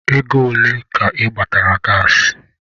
Ego ole ka ị gbatara gaasị?